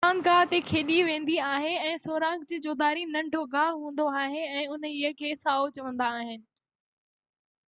اهو راند گاه تي کيڏي ويندي آهي ۽ سوراخ جي چوڌاري ننڍو گاہ هوندو آهي ۽ انهيءِ کي سائو چوندا آهن